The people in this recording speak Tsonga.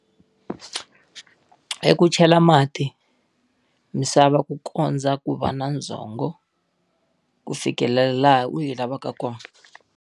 Hi ku chela mati, misava ku kondza ku va na ndzhongo ku fikelela laha u yi lavaka kona.